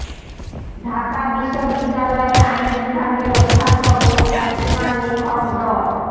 ঢাকা বিশ্ববিদ্যালয়ের আইন বিভাগের অধ্যাপক ও খ্যাতিমান লেখক ড